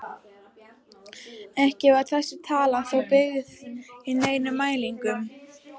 Ekki var þessi tala þó byggð á neinum mælingum.